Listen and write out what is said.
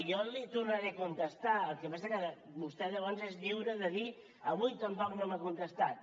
jo li tornaré a contestar el que passa que vostè llavors és lliure de dir avui tampoc no m’ha contestat